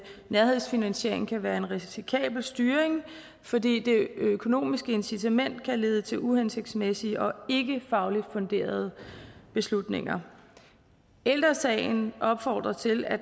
nærhedsfinansiering kan være en risikabel styring fordi det økonomiske incitament kan lede til uhensigtsmæssige og ikkefagligt funderede beslutninger ældre sagen opfordrer til at